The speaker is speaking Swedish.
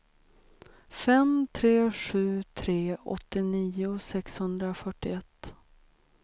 fem tre sju tre åttionio sexhundrafyrtioett